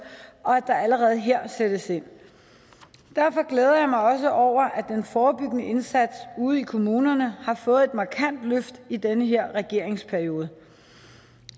og at der allerede her sættes ind derfor glæder jeg mig også over at den forebyggende indsats ude i kommunerne har fået et markant løft i den her regeringsperiode